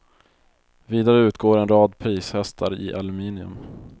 Vidare utgår en rad prishästar i aluminium.